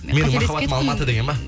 менің махаббатым алматы деген ба